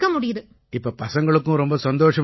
இப்ப பசங்களுக்கும் ரொம்ப சந்தோஷமா இருக்குமே